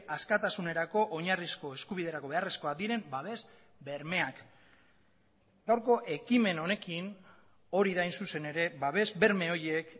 askatasunerako oinarrizko eskubiderako beharrezkoak diren babes bermeak gaurko ekimen honekin hori da hain zuzen ere babes berme horiek